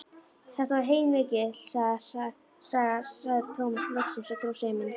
Þetta var heilmikil saga, sagði Tómas loksins og dró seiminn.